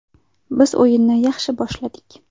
Biz o‘yinni yaxshi boshladik.